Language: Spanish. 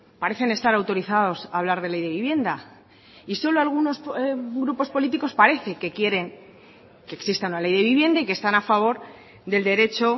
parecen estar autorizados a hablar de ley de vivienda y solo algunos grupos políticos parece que quieren que exista una ley de vivienda y que están a favor del derecho